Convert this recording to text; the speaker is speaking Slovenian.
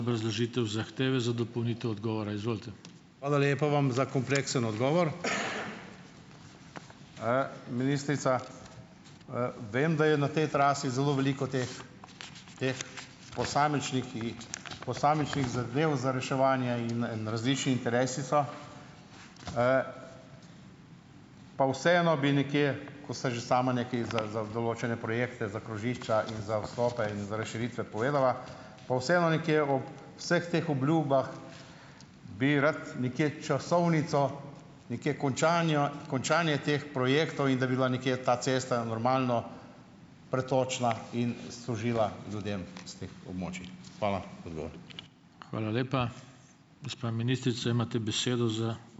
Hvala lepa vam za kompleksen odgovor, ministrica. Vem, da je na tej trasi zelo veliko teh, teh posamičnih zadev za reševanje in, in različni interesi so. Pa vseeno bi nekje, ko ste že sama nekaj za, za določene projekte, za krožišča in za vstope in za razširitve povedala. Pa vseeno nekje v vseh teh obljubah bi rad nekje časovnico, nekje končanja, končanje teh projektov. In da bi bila nekje ta cesta normalno pretočna in služila ljudem tistih območij. Hvala za odgovor.